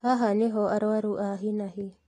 Haha nĩho arũaru a hi na hi